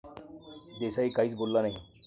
देसाई काहीच बोलला नाही.